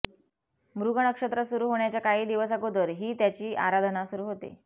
मृग नक्षत्र सुरू होण्याच्या काही दिवस अगोदर ही त्याची आराधना सुरू होते